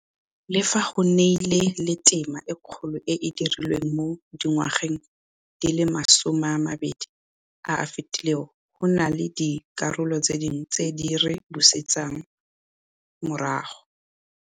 Le fa go nnile le tema e kgolo e e dirilweng mo dingwageng di le masomeamabedi a a fetileng, go na le dikarolo dingwe tse di re buseditseng morago.